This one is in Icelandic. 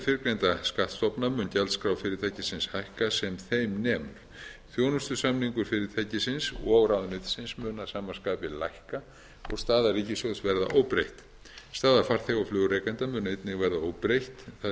fyrrgreinda skattstofna mun gjaldskrá fyrirtækisins hækka sem þeim nemur þjónustusamningur fyrirtækisins og ráðuneytisins mun að sama skapi lækka og staða ríkissjóðs verða óbreytt staða farþega og flugrekenda mun einnig verða óbreytt þar sem í stað